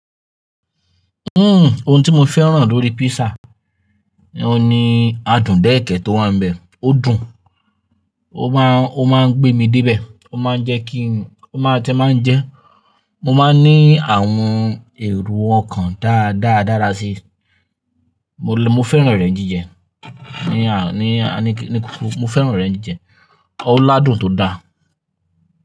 Uhm, ohun tí mo fẹ́ràn lórí pizza oun ni adùn déẹ̀kẹ́ tọ wà níbẹ̀. Ó dùn, ó máa ń gbé mi dé ibẹ̀, ó máa ń jẹ́ kí n jẹ, mo máa ń ní àwọn èrò ọkàn dáadáa dára si. Mo fẹ́ràn rẹ̀ jíjẹ. Ni kókó, mo fẹ́ràn rẹ̀ jíjẹ. Ọ ládùn tó da.